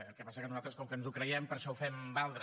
el que passa que nosaltres com que ens ho creiem per això ho fem valdre